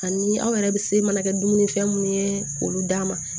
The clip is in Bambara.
Ani aw yɛrɛ bɛ se mana kɛ dumuni fɛn minnu ye k'olu d'a ma